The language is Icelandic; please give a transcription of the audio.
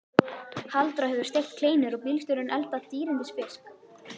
Halldóra hefur steikt kleinur og bílstjórinn eldað dýrindis fisk.